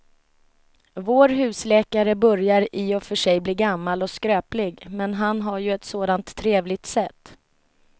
Vår husläkare börjar i och för sig bli gammal och skröplig, men han har ju ett sådant trevligt sätt!